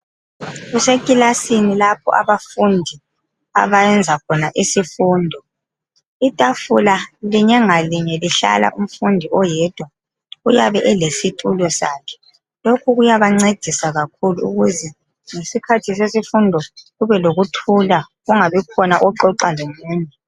Kusekilasini lapho abafundi abayenza khona isifundo .Itafula linye ngalinye lihlala umfundi oyedwa ,uyabe elesitulo sakhe .Lokhu kuyabancedisa kakhulu ukuze ngesikhathi sesifundo kube lokuthula, kungabi khona oxoxa lomunye.